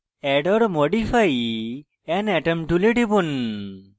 add or modify an atom tool টিপুন